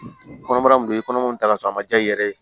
Kɔnɔbara dun don i kɔnɔ mun ta ka sɔrɔ a man diya i yɛrɛ ye